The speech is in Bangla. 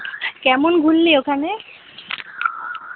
কেমন ঘুড়লি ওখানে